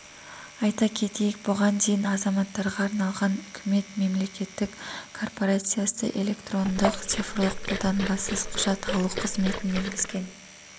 айта кетейік бұған дейін азаматтарға арналған үкімет мемлекеттік корпорациясы электрондық цифрлық қолтаңбасыз құжат алу қызметін енгізген